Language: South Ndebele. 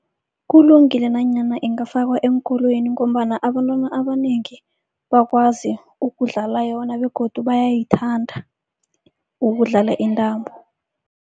Kulungile nanyana ingafakwa eenkolweni ngombana abantwana abanengi, bakwazi ukudlala yona begodu bayayithanda ukudlala intambo.